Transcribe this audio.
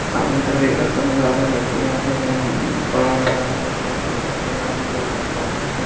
सामने की तरफ एक लड़का नजर आ रहा हे लड़के के हाट में फ़ोन वाच नजर आ रही हे लड़कन के--